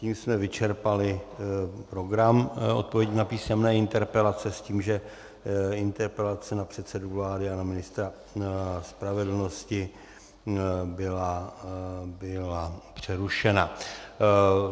Tím jsme vyčerpali program odpovědí na písemné interpelace s tím, že interpelace na předsedu vlády a na ministra spravedlnosti byla přerušena.